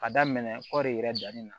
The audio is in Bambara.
Ka daminɛ kɔɔri yɛrɛ danni na